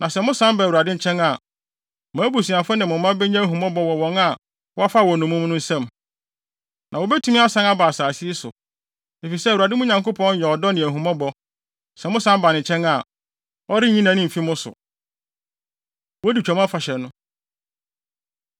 Na sɛ mosan ba Awurade nkyɛn a, mo abusuafo ne mo mma benya ahummɔbɔ wɔ wɔn a wɔfaa wɔn nnommum no nsam, na wobetumi asan aba asase yi so. Efisɛ Awurade, mo Nyankopɔn yɛ ɔdɔ ne ahummɔbɔ. Sɛ mosan ba ne nkyɛn a, ɔrenyi nʼani mfi mo so.” Wodi Twam Afahyɛ No